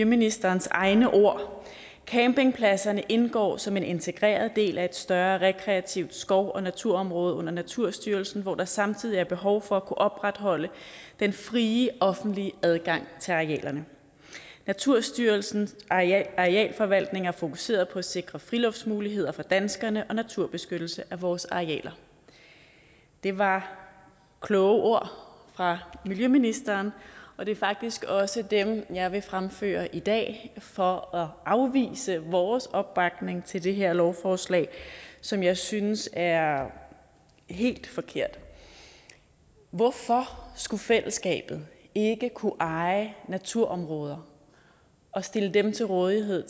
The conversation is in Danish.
ministerens egne ord er campingpladserne indgår som en integreret del af et større rekreativt skov og naturområde under naturstyrelsen hvor der samtidig er behov for at kunne opretholde den frie offentlige adgang til arealerne naturstyrelsens arealforvaltning er fokuseret på at sikre friluftsmuligheder for danskerne og naturbeskyttelse af vores arealer det var kloge ord fra miljøministeren og det er faktisk også dem jeg vil fremhæve i dag for at afvise vores opbakning til det her lovforslag som jeg synes er helt forkert hvorfor skulle fællesskabet ikke kunne eje naturområder og stille dem til rådighed